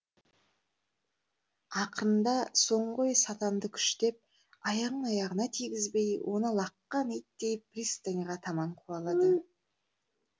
ақырында соңғы ой сатанды күштеп аяғын аяғына тигізбей оны лаққан иттей пристаньға таман қуалады